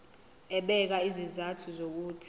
ebeka izizathu zokuthi